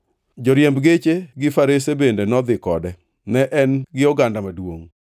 Joriemb geche gi Farese bende nodhi kode. Ne en gi oganda maduongʼ.